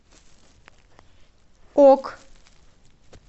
ок